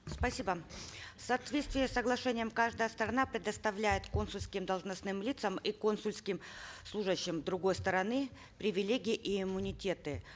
спасибо в соответствии с соглашением каждая сторона предоставляет консульским должностным лицам и консульским служащим другой стороны привилегии и иммунитеты